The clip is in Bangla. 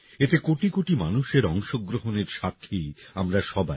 এতে কোটি কোটি মানুষের অংশগ্রহণের সাক্ষী আমরা সবাই